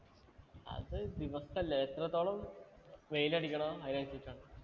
അത് ദിവസല്ല എത്രത്തോളം വെയിലടിക്കുണൊ അതിനനുസരിച്ചാണ്